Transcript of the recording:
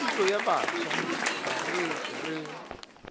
kgodišo ya bafsa aretse re